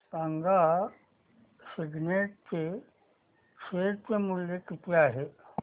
सांगा सिग्नेट चे शेअर चे मूल्य किती आहे